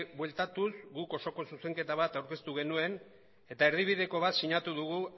bueltatuz guk osoko zuzenketa bat aurkeztu genuen eta erdibideko bat sinatu dugu